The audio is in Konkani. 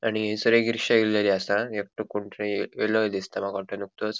आणि हयसर एक रिक्षा येल्लेली आसा आणि एकटो कोणतरी येल्लेलो दिसता माका वाटतो नुकतोच.